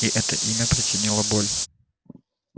и это имя причинило боль